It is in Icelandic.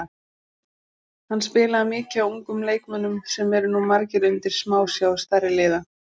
Hann spilaði mikið á ungum leikmönnum sem eru nú margir undir smásjá stærri liða.